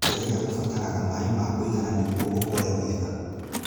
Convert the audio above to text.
Terere ũbataraga maaĩ makũigana nĩguo ũkure wega.